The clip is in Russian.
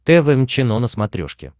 тэ вэ эм чено на смотрешке